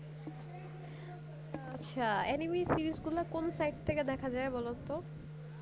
ও আচ্ছা anime series গুলো কোন site থেকে দেখা যাই বলতো